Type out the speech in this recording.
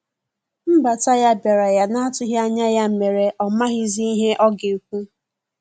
Nbata ya biara ya na atughi anya ya mere ọ maghizi ihe ọga ekwụ.